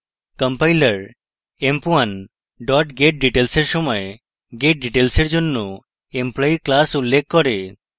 compiler emp1 getdetails এর সময় getdetails এর জন্য employee class উল্লেখ করে